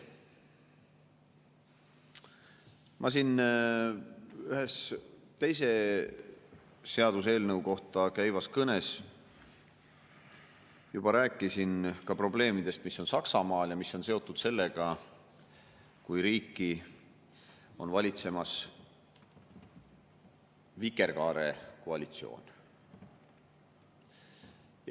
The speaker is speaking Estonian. Ma siin ühe teise seaduseelnõu kohta käivas kõnes juba rääkisin ka probleemidest, mis on Saksamaal ja mis on seotud sellega, kui riiki on valitsemas vikerkaarekoalitsioon.